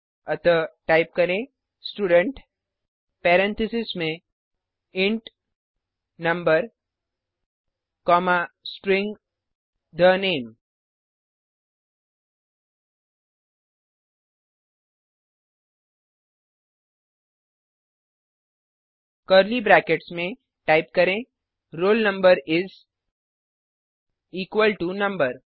अतः टाइप करें student parentheses में int number comma string the name curly brackets में टाइप करें roll number इस इक्वल टो नंबर